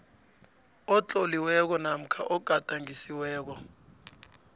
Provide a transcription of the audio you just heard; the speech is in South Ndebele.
otloliweko namkha ogadangisiweko